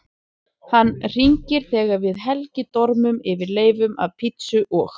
Hann hringir þegar við Helgi dormum yfir leifum af pizzu og